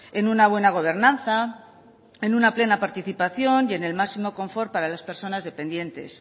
en una buena gobernanza en una plena participación y en el máximo confort para las personas dependientes